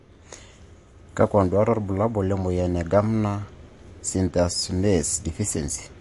Kakwa nduat wobulabul lemoyian e Gamma cystathionase deficiency?